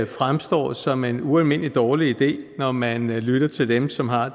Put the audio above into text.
fremstår som en ualmindelig dårlig idé når man lytter til dem som har